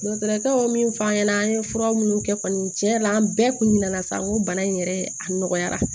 Nansarakaw min f'an ɲɛna an ye fura minnu kɛ kɔni tiɲɛ yɛrɛ la an bɛɛ kun ɲɛna sa n ko bana in yɛrɛ a nɔgɔyara